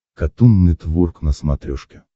катун нетворк на смотрешке